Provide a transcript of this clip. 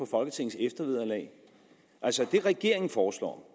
folketingets eftervederlag altså det regeringen foreslår